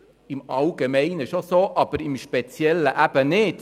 Im Allgemeinen stimmt dies, aber im Speziellen eben nicht.